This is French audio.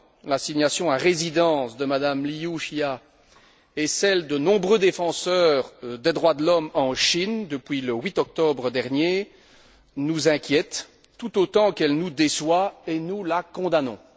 L'assignation à résidence de Mme Liu Xia et celle de nombreux défenseurs des droits de l'homme en Chine depuis le 8 octobre dernier nous inquiète tout autant qu'elle nous déçoit, et nous la condamnons.